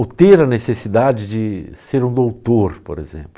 Ou ter a necessidade de ser um doutor, por exemplo.